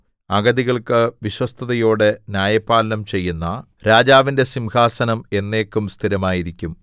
അഗതികൾക്ക് വിശ്വസ്തതയോടെ ന്യായപാലനം ചെയ്യുന്ന രാജാവിന്റെ സിംഹാസനം എന്നേക്കും സ്ഥിരമായിരിക്കും